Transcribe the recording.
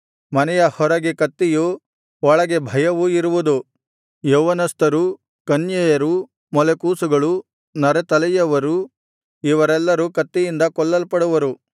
ಮನೆಯ ಹೊರಗೆ ಕತ್ತಿಯೂ ಒಳಗೆ ಭಯವೂ ಇರುವುದು ಯೌವನಸ್ಥರು ಕನ್ಯೆಯರು ಮೊಲೆಕೂಸುಗಳು ನರೇತಲೆಯವರು ಇವರೆಲ್ಲರೂ ಕತ್ತಿಯಿಂದ ಕೊಲ್ಲಲ್ಪಡುವರು